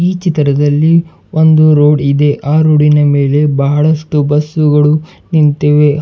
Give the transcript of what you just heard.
ಈ ಚಿತ್ರದಲ್ಲಿ ಒಂದು ರೋಡ್ ಇದೆ ಆ ರೋಡಿ ನ ಮೇಲೆ ಬಹಳಷ್ಟು ಬಸ್ಸು ಗಳು ನಿಂತಿವೆ ಹ --